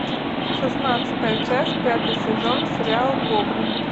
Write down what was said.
шестнадцатая часть пятый сезон сериал гоблин